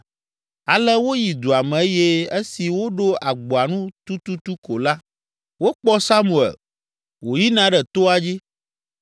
Ale woyi dua me eye esi woɖo agboa nu tututu ko la, wokpɔ Samuel, wòyina ɖe toa dzi.